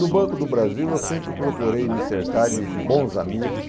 No Banco do Brasil eu sempre procurei me cercar de de bons amigos.